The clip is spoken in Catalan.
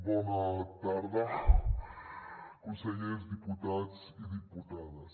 bona tarda consellers diputats i diputades